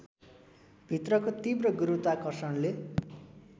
भित्रको तीव्र गुरुत्वाकर्षणले